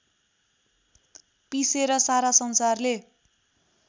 पिसेर सारा संसारले